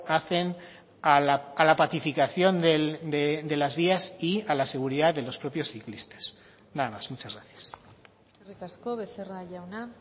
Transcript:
hacen a la pacificación de las vías y a la seguridad de los propios ciclistas nada más muchas gracias eskerrik asko becerra jauna